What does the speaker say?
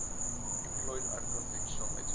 employed unconventional metaphors